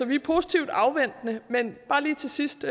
vi er positivt afventende men bare lige til sidst